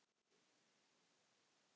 Þín Halla Björk.